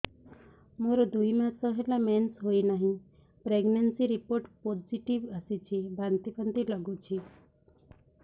ମୋର ଦୁଇ ମାସ ହେଲା ମେନ୍ସେସ ହୋଇନାହିଁ ପ୍ରେଗନେନସି ରିପୋର୍ଟ ପୋସିଟିଭ ଆସିଛି ବାନ୍ତି ବାନ୍ତି ଲଗୁଛି